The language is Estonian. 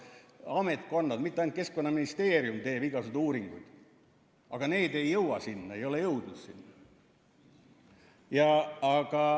Ametkonnad, mitte ainult Keskkonnaministeerium, teevad igasuguseid uuringuid, aga need ei jõua sinna, ei ole jõudnud.